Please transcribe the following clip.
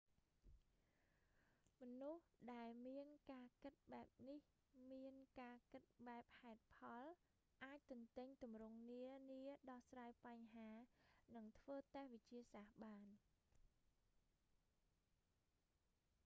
មនុស្សដែលមានការគិតបែបនេះ មានការគិតបែបហេតុផល អាចទន្ទេញទម្រង់នានា ដោះស្រាយបញ្ហា និងធ្វើតេស្តវិទ្យាសាស្ត្របាន